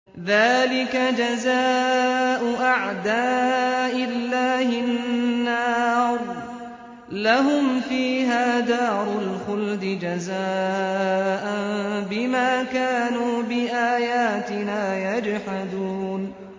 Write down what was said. ذَٰلِكَ جَزَاءُ أَعْدَاءِ اللَّهِ النَّارُ ۖ لَهُمْ فِيهَا دَارُ الْخُلْدِ ۖ جَزَاءً بِمَا كَانُوا بِآيَاتِنَا يَجْحَدُونَ